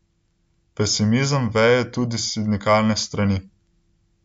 Pesimizem veje tudi s sindikalne strani.